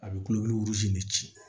A bɛ kulosi in de ci